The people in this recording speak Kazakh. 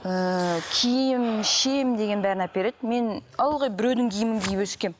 ііі киім ішемін деген бәрін әпереді мен ылғи біреудің киімін киіп өскенмін